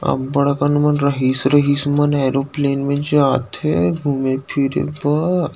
अब्बड़ अकन मन रहिस रहिस मन एयरोप्लेन म जाथे घूमे फिरे बर--